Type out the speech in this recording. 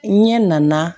N ɲɛ nana